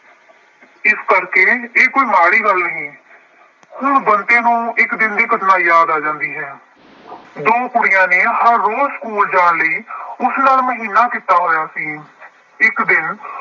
ਇਸ ਕਰਕੇ ਇਹ ਕੋਈ ਮਾੜ੍ਹੀ ਗੱਲ ਨਹੀਂ। ਹੁਣ ਬੰਤੇ ਨੂੰ ਇੱਕ ਦਿਨ ਦੀ ਘਟਨਾ ਯਾਦ ਆ ਜਾਂਦੀ ਹੈ। ਦੋ ਕੁੜੀਆਂ ਨੇ ਹਰ ਰੋਜ਼ ਸਕੂਲ ਜਾਣ ਲਈ ਉਸ ਨਾਲ ਮਹੀਨਾ ਕੀਤਾ ਹੋਇਆ ਸੀ। ਇੱਕ ਦਿਨ